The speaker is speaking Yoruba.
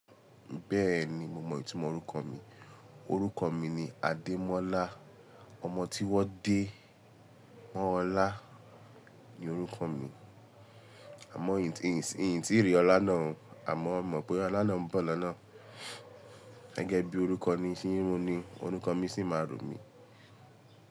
Bẹ́ẹ̀ni, mo mọ ìtumọ̀ orúkọ mi. Orúkọ mi ni Adémọ́lá. Ọmọ tí wọ́n dé mọ́ ọlá ni orúkọ mi. Àmọ́ ntìrí ọlá náà, àmọ́ mo mọ̀ pé ọlá náà bọ̀ lọ́nà. Gẹ́gẹ́ bí orúkọ ni ń ṣe ro ni orúkọ mi sì máa ro mí.